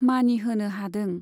मानि होनो हादों।